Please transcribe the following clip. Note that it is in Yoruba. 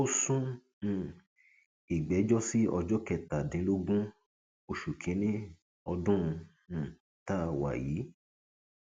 ó sún um ìgbẹjọ sí ọjọ kẹtàdínlógún oṣù kínínní ọdún um tá a wà yìí